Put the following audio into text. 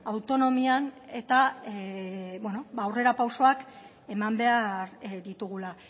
autonomian eta aurrerapausoak eman behar ditugula